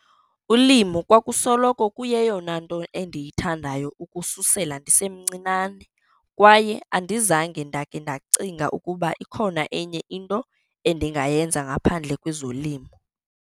"Ulimo kwakusoloko kuyeyona nto endiyithandayo ukususela ndisemncinane, kwaye andizange ndake ndacinga ukuba ikhona enye into endingayenza ngaphandle kwezolimo."